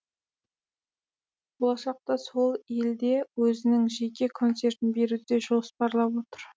болашақта сол елде өзінің жеке концертін беруді де жоспарлап отыр